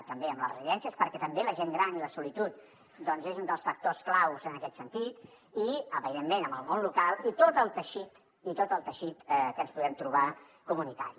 també amb les residències perquè també la gent gran i la solitud és un dels factors claus en aquest sentit i evidentment amb el món local i tot el teixit que ens podem trobar comunitari